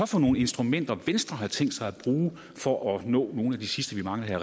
for nogle instrumenter som venstre har tænkt sig at bruge for at nå nogle af de sidste vi mangler her